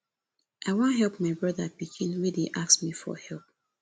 i wan help my broda pikin wey dey ask me for help